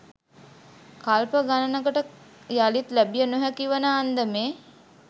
කල්ප ගණනකට යළිත් ලැබිය නොහැකි වන අන්දමේ